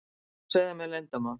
Já, segðu mér leyndarmál.